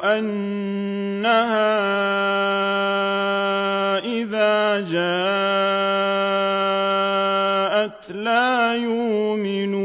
أَنَّهَا إِذَا جَاءَتْ لَا يُؤْمِنُونَ